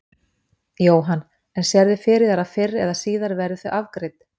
Jóhann: En sérðu fyrir þér að fyrr eða síðar verði þau afgreidd?